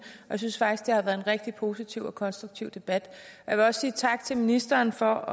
jeg synes faktisk det har været en rigtig positiv og konstruktiv debat jeg vil også sige tak til ministeren for